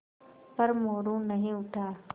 पर मोरू नहीं उठा